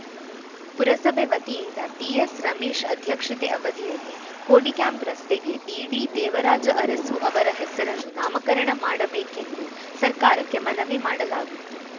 ಪುರಸಭೆ ವತಿಯಿಂದ ಟಿಎಸ್‌ ರಮೇಶ್‌ ಅಧ್ಯಕ್ಷತೆ ಅವಧಿಯಲ್ಲಿ ಕೋಡಿಕ್ಯಾಂಪ್‌ ರಸ್ತೆಗೆ ದಿ ಡಿದೇವರಾಜ ಅರಸು ಅವರ ಹೆಸರನ್ನು ನಾಮಕರಣ ಮಾಡಬೇಕೆಂದು ಸರ್ಕಾರಕ್ಕೆ ಮನವಿ ಮಾಡಲಾಗಿತ್ತು